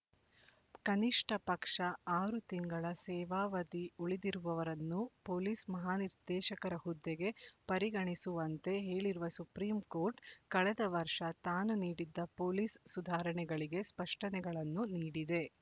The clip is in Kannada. ಕನಿಷ್ಠ ಪಕ್ಷ ಆರು ತಿಂಗಳ ಸೇವಾವಧಿ ಉಳಿದಿರುವವರನ್ನೂ ಪೊಲೀಸ್ ಮಹಾನಿರ್ದೇಶಕರ ಹುದ್ದೆಗೆ ಪರಿಗಣಿಸುವಂತೆ ಹೇಳಿರುವ ಸುಪ್ರೀಂ ಕೋರ್ಟ್ ಕಳೆದ ವರ್ಷ ತಾನು ನೀಡಿದ್ದ ಪೊಲೀಸ್ ಸುಧಾರಣೆಗಳಿಗೆ ಸ್ಪಷ್ಟನೆಗಳನ್ನು ನೀಡಿದೆ